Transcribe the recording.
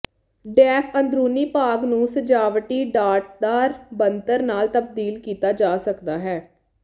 deaf ਅੰਦਰੂਨੀ ਭਾਗ ਨੂੰ ਸਜਾਵਟੀ ਡਾਟਦਾਰ ਬਣਤਰ ਨਾਲ ਤਬਦੀਲ ਕੀਤਾ ਜਾ ਸਕਦਾ ਹੈ